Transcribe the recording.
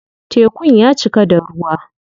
Tekun ya cika da ruwa.